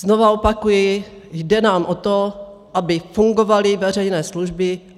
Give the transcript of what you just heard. Znova opakuji, jde nám o to, aby fungovaly veřejné služby.